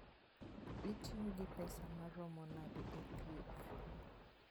Itiyo gi pesa maromo nade e thieth?